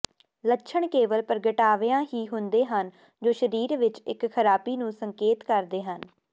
ਲੱਛਣ ਕੇਵਲ ਪ੍ਰਗਟਾਵਿਆਂ ਹੀ ਹੁੰਦੇ ਹਨ ਜੋ ਸਰੀਰ ਵਿੱਚ ਇੱਕ ਖਰਾਬੀ ਨੂੰ ਸੰਕੇਤ ਕਰਦੇ ਹਨ